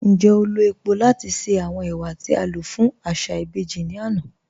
Ńjẹ́ o lọ̀ epò̀ lati ṣe awọn ẹwà ti a lọ fun aṣa ibèjì ni ana?